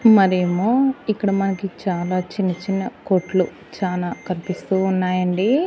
మరియేమో ఇక్కడ మనకి చాలా చిన్న చిన్న కొట్టులు చానా కనిపిస్తూ ఉన్నాయి అండి.